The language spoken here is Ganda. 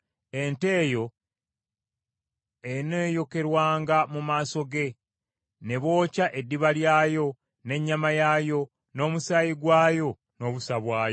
Ente eyo eneeyokerwanga mu maaso ge; ne bookya eddiba lyayo, n’ennyama yaayo, n’omusaayi gwayo n’obusa bwayo.